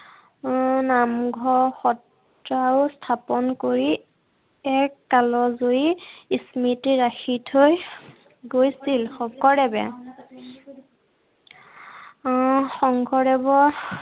উম নামঘৰ সত্ৰও স্থাপন কৰি, এক কালজয়ী স্মৃতি ৰাখি থৈ গৈছিল, শেকৰদেৱে। আহ শংকৰদেৱৰ